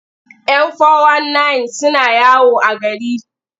Yan fo-wan-nayin suna yawo a gari.